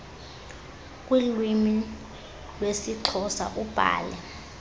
kuiwimi iwesixhosa ubhaie